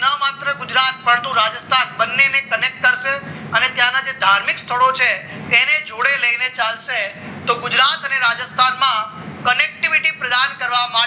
માત્ર ગુજરાતને ફરતું રાજસ્થાન બંનેને connect કરશે અને તેનાથી ધાર્મિક સ્થળો છે તેને જોડે લઈને ચાલશે તો ગુજરાત અને રાજસ્થાનમાં connectivity પ્રદાન કરવામાં